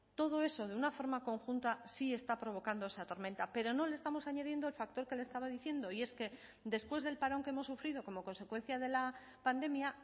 todo eso de una forma conjunta sí está provocando esa tormenta pero no le estamos añadiendo el factor que le estaba diciendo y es que después del parón que hemos sufrido como consecuencia de la pandemia